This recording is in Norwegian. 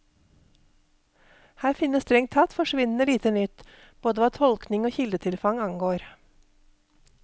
Her finnes strengt tatt forsvinnende lite nytt, både hva tolkning og kildetilfang angår.